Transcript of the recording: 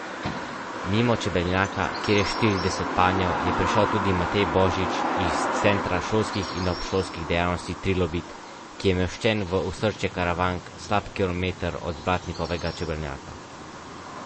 Mimo čebelnjaka, kjer je štirideset panjev, je prišel tudi Matej Božič iz Centra šolskih in obšolskih dejavnosti Trilobit, ki je umeščen v osrčje Karavank slab kilometer od Blatnikovega čebelnjaka.